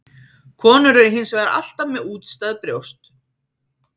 Konur eru hins vegar alltaf með útstæð brjóst.